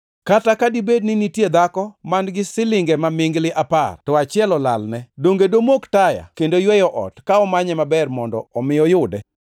“Kata ka dibed ni nitie dhako man-gi silinge mamingli apar, to achiel olalne. Donge domok taya, kendo yweyo ot, ka omanye maber mondo omi oyude?